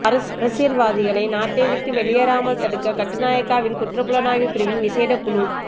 அரசியல்வாதிகளை நாட்டை விட்டு வெளியேறாமல் தடுக்க கட்டுநாயக்கவில் குற்ற புலனாய்வு பிரிவின் விசேட குழு